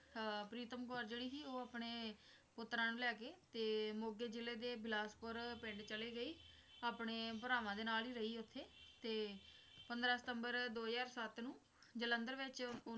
ਅਹ ਪ੍ਰੀਤਮ ਕੌਰ ਜਿਹੜੀ ਸੀ ਉਹ ਆਪਣੇ ਪੁੱਤਰਾਂ ਨੂੰ ਲੈ ਕੇ ਮੋਗੇ ਜਿਲੇ ਦੇ ਬਿਲਾਸਪੁਰ ਪਿੰਡ ਚਲੀ ਗਈ ਆਪਣੇ ਭਰਾਵਾਂ ਦੇ ਨਾਲ ਹੀ ਰਹੀ ਤੇ ਉੱਥੇ ਪੰਦਰਾਂ ਸਤੰਬਰ ਦੋ ਹਜ਼ਾਰ ਸੱਤ ਨੂੰ ਜਲੰਧਰ ਵਿੱਚ